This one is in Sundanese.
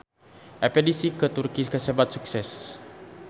Espedisi ka Turki kasebat sukses